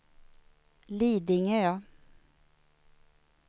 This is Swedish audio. Lidingö